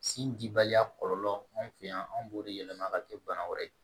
Sin dibaliya kɔlɔlɔ an fɛ yan anw b'o de yɛlɛma ka kɛ bana wɛrɛ ye